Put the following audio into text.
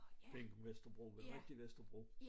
Ikke Vesterbro det rigtige Vesterbro